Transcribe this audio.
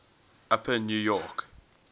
upper new york